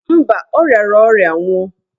Mba, ọ riara ọrịa nwụọ.